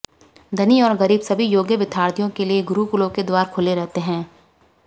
धनी और गरीब सभी योग्य विद्यार्थियों के लिए गुरुकुलों के द्वार खुले रहते थे